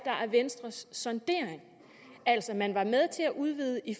venstres sondering altså man var med til at udvide i